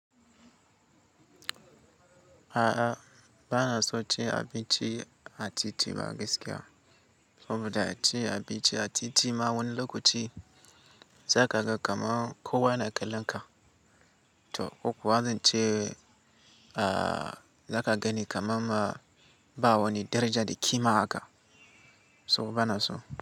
A'a, ba na so ce abinci a titi ba gaskiya. Saboda ace abinci a titi ma wani lokaci za ka ga kamar kowa yana kallon ka. To ko kuwa zan ce, a za ka gani kamar ma ba wani daraja da kima haka. So ba na so.